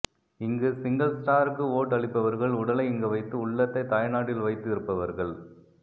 இங்கு சிங்கள் ஸ்டாருக்கு வோட் அளிப்பவர்கள் உடலை இங்கு வைத்து உள்ளத்தை தாய்நாட்டில் வைத்து இருப்பவர்கள்